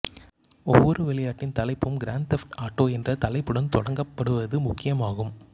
ஒவ்வொரு விளையாட்டின் தலைப்பும் கிரான்ட் தெஃப்ட் ஆட்டோ என்ற தலைப்புடன் தொடங்கப்படுவது முக்கியமாகும்